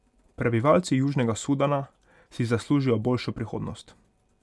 Prebivalci Južnega Sudana si zaslužijo boljšo prihodnost.